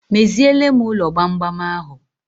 Meziele m ụlọ gbamgbam ahụ